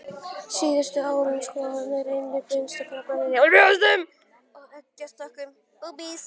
Síðustu árin hafa skoðanir einnig beinst að krabbameini í brjóstum, legbol og eggjastokkum.